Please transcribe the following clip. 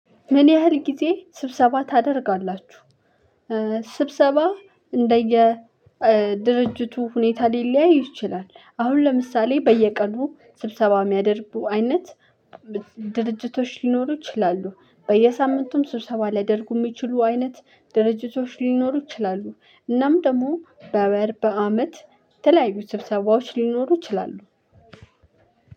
ምን ያህል ጊዜ ስብሰባ ታደርጋላችሁ? ስብሰባ እንደየ ድርጅቱ ሁኔታ ሊለያይ ይችላል። አሁን ለምሳሌ በየቀኑ ስብሰባ የሚያደርቡ አይነት ድርጅቶች ሊኖሩ ይችላሉ። በየሳምንቱም ስብሰባ ሊያደርጉ የሚችሉ አይነት ድርጅቶች ሊኖሩ ይችላሉ። እናም ደግሞ በወር በአመት ተለያዩ ስብሰባዎች ሊኖሩ ይችላሉ።